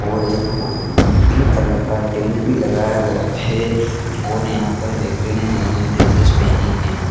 और एक pink colour का टेंट भी लगा गया है और यहाँ व्यक्ति ने नए-नए ड्रेसेस पहनी है।